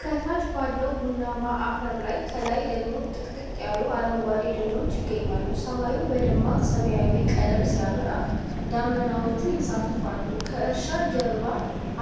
ከታች ባለው ቡናማ አፈር ላይ፣ ከላይ ደግሞ ጥቅጥቅ ያሉ አረንጓዴ ደኖች ይገኛሉ። ሰማዩ በደማቅ ሰማያዊ ቀለም ሲያበራ ደመናዎች ይንሳፈፋሉ። ከእርሻው ጀርባ